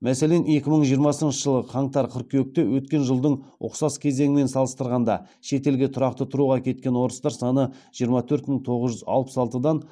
мәселен екі мың жиырмасыншы жылғы қаңтар қыркүйекте өткен жылдың ұқсас кезеңімен салыстырғанда шетелге тұрақты тұруға кеткен орыстар саны жиырма төрт мың тоғыз жүз алпыс алтыдан